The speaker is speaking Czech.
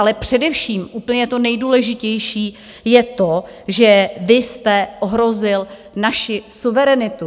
Ale především úplně to nejdůležitější je to, že vy jste ohrozil naši suverenitu.